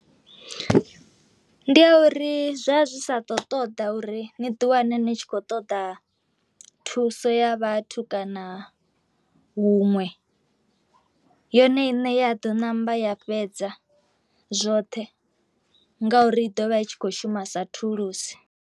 Ndi ya uri zwa zwi sa to ṱoḓa uri ni di wane ni tshi khou ṱoḓa thuso ya vhathu kana huṅwe, yone i ṋea ḓo ṋamba ya fhedza zwoṱhe ngauri i ḓo vha i tshi kho shuma sa thulusi.